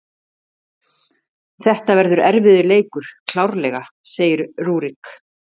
Þetta verður erfiður leikur, klárlega, segir Rúrik.